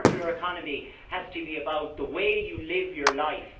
The circular economy has to be about the way you live your life.